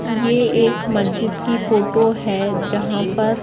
ये एक मस्जिद की फोटो है जहां पर--